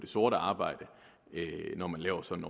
sort arbejde når man laver sådan